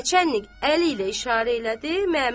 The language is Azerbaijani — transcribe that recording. Nəçannik əli ilə işarə elədi.